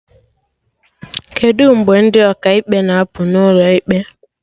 Kedụ mgbe ndị Ọkaikpe na apụ n'ụlọ ikpe?